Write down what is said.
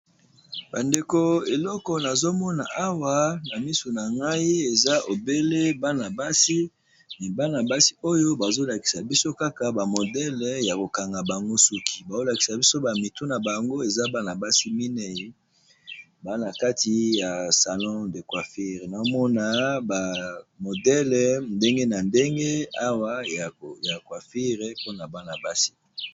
bandeko eleko nazomona awa na misu na ngai eza ebele bana-basi bana basi oyo bazolakisa biso kaka bamodele ya kokanga bango suki bazolakisa biso bamitu na bango eza bana-basi minei bana kati ya salon de quafire namona bamodele ndenge na ndenge awa ya cuafire mpona bana-basi